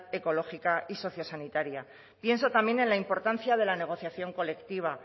ecológica y sociosanitaria pienso también en la importancia de la negociación colectiva